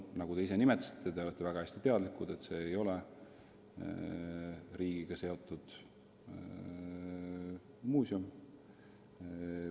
Nagu te ise ütlesite, te teate väga hästi, et see ei ole riigiga seotud muuseum.